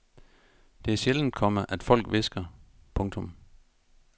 Det er sjældent, komma at folk hvisker. punktum